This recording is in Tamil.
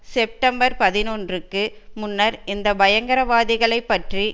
செப்டம்பர் பதினொன்றுக்கு முன்னர் இந்த பயங்கரவாதிகளைப் பற்றி